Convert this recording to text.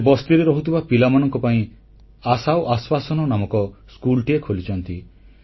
ସେ ବସ୍ତିରେ ରହୁଥିବା ପିଲାମାନଙ୍କ ପାଇଁ ଆଶା ଓ ଆଶ୍ୱାସନା ନାମକ ସ୍କୁଲଟିଏ ଖୋଲିଛନ୍ତି